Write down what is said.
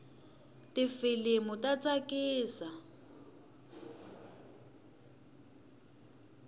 tifilimu ta tsakisa